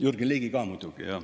Jürgen Ligi ka muidugi.